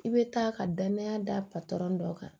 I bɛ taa ka danaya da patɔrɔn dɔ kan